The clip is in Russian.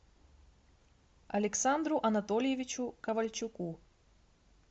александру анатольевичу ковальчуку